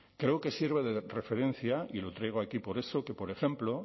creo que sirve de referencia y lo traigo aquí por eso que por ejemplo